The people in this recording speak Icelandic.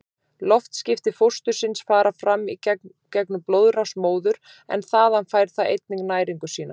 Loftskipti fóstursins fara fram í gegnum blóðrás móður, en þaðan fær það einnig næringu sína.